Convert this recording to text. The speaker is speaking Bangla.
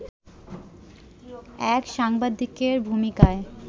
এক সাংবাদিকের ভূমিকায়